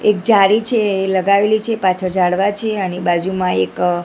એક જારી છે એ લગાવેલી છે પાછળ ઝાડવા છે અને બાજુમાં એક--